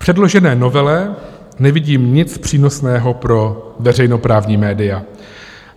V předložené novele nevidím nic přínosného pro veřejnoprávní média.